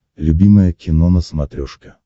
любимое кино на смотрешке